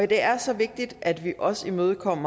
det er så vigtigt at vi også imødekommer